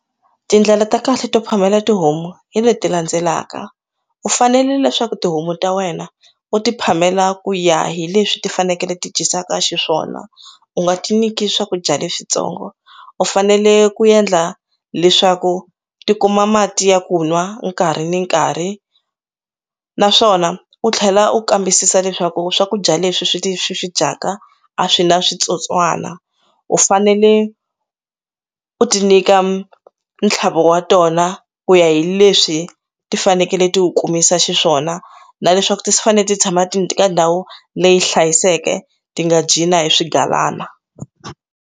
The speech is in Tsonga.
Tindlela ta kahle to phamela tihomu hi leti landzelaka u fanele leswaku tihomu ta wena u ti phamela ku ya hi leswi ti fanekele ti twisaka xiswona u nga ti nyiki swakudya leswintsongo u fanele ku endla leswaku ti kuma mati ya ku nwa nkarhi ni nkarhi naswona u tlhela u kambisisa leswaku swakudya leswi swi swi swi dyaka a swi na switsotswana u fanele u ti nyika ntlhavelo wa tona ku ya hi leswi ti fanekele ti u kumisa xiswona na leswaku ti fanele ti tshama ti ka ndhawu leyi hlayiseke ti nga dyi na hi swigalana.